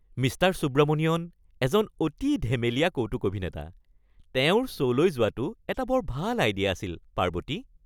Mister Subramanian এজন অতি ধেমেলীয়া কৌতুক অভিনেতা। তেওঁৰ শ্ব'লৈ যোৱাটো এটা বৰ ভাল আইডিয়া আছিল, পাৰ্বতী।